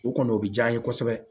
O kɔni o bɛ diya n ye kosɛbɛ